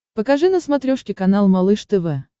покажи на смотрешке канал малыш тв